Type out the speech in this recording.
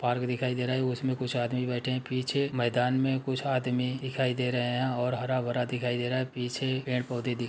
Park दिखाई दे रहा हैउसमें कुछ आदमी बैठे हैं पीछे मैदान में कुछ आदमी दिखाई दे रहे हैं और हरा-भरा दिखाई दे रहा है। पीछे पेड़-पौधे दिखाई --